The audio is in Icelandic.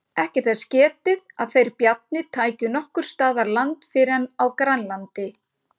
Ekki er þess getið að þeir Bjarni tækju nokkurs staðar land fyrr en á Grænlandi.